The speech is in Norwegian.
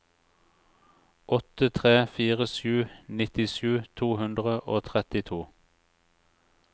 åtte tre fire sju nittisju to hundre og trettito